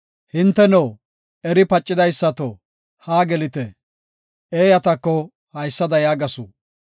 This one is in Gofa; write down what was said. Hinteno, eri pacidaysato haa gelite! Eeyatako haysada yaagasu.